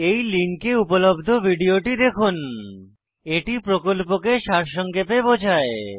এই লিঙ্কে উপলব্ধ ভিডিওটি দেখুন httpspoken tutorialorgWhat is a Spoken tutorial এটি প্রকল্পকে সারসংক্ষেপে বোঝায়